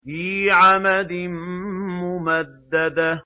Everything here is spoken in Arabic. فِي عَمَدٍ مُّمَدَّدَةٍ